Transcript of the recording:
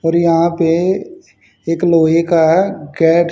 पर यहां पे एक लोहे का गेट --